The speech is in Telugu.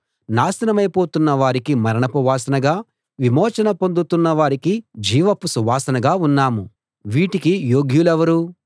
నాశనమైపోతున్న వారికి మరణపు వాసనగా విమోచన పొందుతున్న వారికి జీవపు సువాసనగా ఉన్నాము వీటికి యోగ్యులెవరు